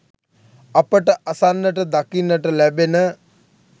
අපට අසන්නට දකින්නට ලැබෙන